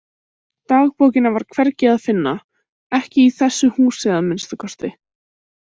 Dagbókina var hvergi að finna, ekki í þessu húsi að minnsta kosti.